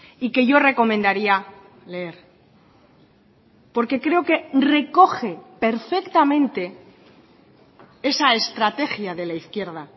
y que yo recomendaría leer porque creo que recoge perfectamente esa estrategia de la izquierda